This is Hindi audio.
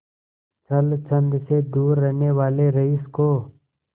छल छंद से दूर रहने वाले रईस को